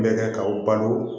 N bɛ kɛ ka u balo